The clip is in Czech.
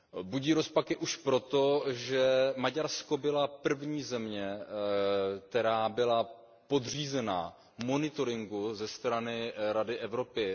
Budí rozpaky už proto, že Maďarsko byla první země, která byla podřízena monitoringu ze strany Rady Evropy.